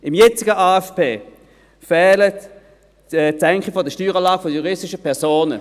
Im jetzigen AFP fehlt die Senkung der Steueranlage der juristischen Personen.